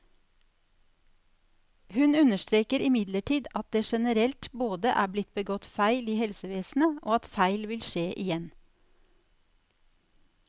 Hun understreker imidlertid at det generelt både er blitt begått feil i helsevesenet, og at feil vil skje igjen.